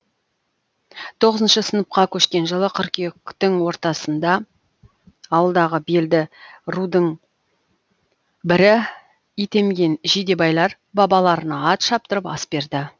тоғызыншы сыныпқа көшкен жылы қыркүйектің ортасында ауылдағы белді рудың бірі итемген жидебайлар бабаларына ат шаптырып ас берді